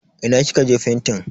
Ina kika aje fentin.